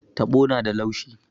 Taɓo na da laushi.